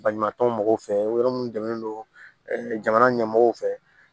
Baɲumankɛ mɔgɔw fɛ yɔrɔ minnu dɛmɛlen don jamana ɲɛmɔgɔw fɛ